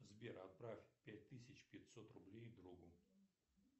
сбер отправь пять тысяч пятьсот рублей другу